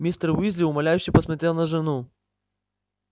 мистер уизли умоляюще посмотрел на жену